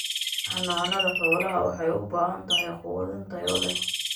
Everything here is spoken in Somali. Xanaanada xoolaha waxay u baahan tahay quudin tayo leh.